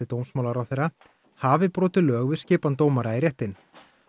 dómsmálaráðherra hafi brotið lög við skipan dómara í réttinn